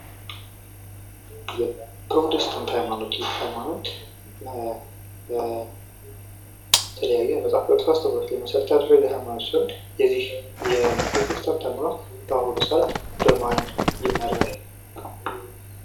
የፕሮቴስታንት ሃይማኖት ይህ ሃይማኖት በተለያዩ የመጽሃፍ ቅዱስ አስተምህሮቶች ላይ መሰረት ያደረገ ሃይማኖት ሲሆን የዚህ የፕሮቴስታንት ሃይማኖት በማን ይመራል?